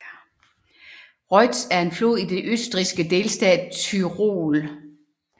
Ruetz er en flod i den østrigske delstat Tyrol